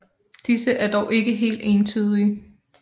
Disse er dog ikke helt entydige